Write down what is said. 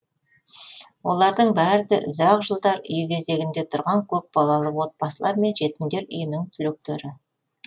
олардың бәрі де ұзақ жылдар үй кезегінде тұрған көпбалалы отбасылар мен жетімдер үйінің түлектері